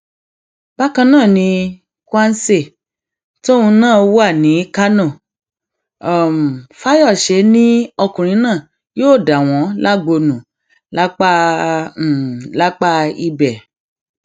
bákan náà ni kwanse tóun náà wà ní kánò fayose ni ọkùnrin náà yóò dà wọn lágbo nù lápá lápá ibẹ